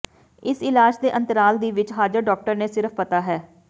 ਇਸ ਇਲਾਜ ਦੇ ਅੰਤਰਾਲ ਦੀ ਵਿਚ ਹਾਜ਼ਰ ਡਾਕਟਰ ਨੇ ਸਿਰਫ਼ ਪਤਾ ਹੈ